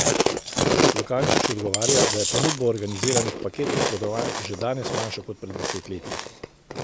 Lukančič odgovarja, da je ponudba organiziranih paketnih potovanj že danes manjša kot pred desetletji.